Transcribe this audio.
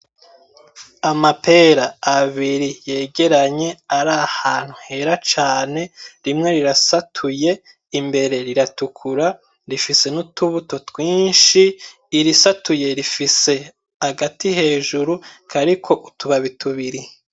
Amapera abiri yegeranye arahantu Hera cane ,rimwe rirasatuye imbere riratukura rifise n'utubuto twinshi irisatuye rifise agati hejuru kariko utubabi tubiri.